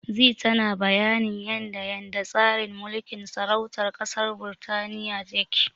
Zee tana bayanin yanda yanda tsarin mulkin sarautar ƙasar Birtaniya yake.